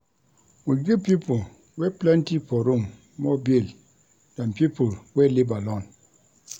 We give pipo wey plenty for room more bill dan pipo wey live alone.